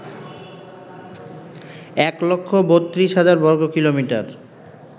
১৩২০০০ বর্গকিলোমিটার